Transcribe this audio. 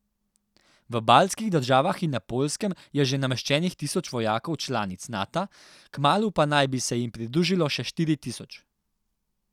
V baltskih državah in na Poljskem je že nameščenih tisoč vojakov članic Nata, kmalu pa naj bi se jim pridružilo še štiri tisoč.